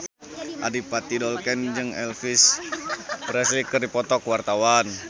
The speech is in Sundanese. Adipati Dolken jeung Elvis Presley keur dipoto ku wartawan